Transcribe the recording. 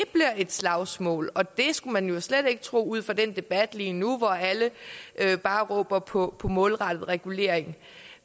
et slagsmål og det skulle man jo slet ikke tro ud fra den debat lige nu hvor alle bare råber på målrettet regulering